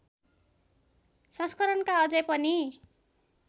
संस्करणका अझै पनि